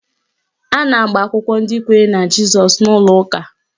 A na-agba akwụkwọ ndị kwenyere na Jizọs n'ụlọ ụka